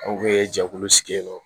An kun bɛ jɛkulu sigi yen nɔ